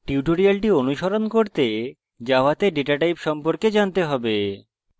tutorial অনুসরণ করতে জাভাতে ডেটা types সম্পর্কে জানতে have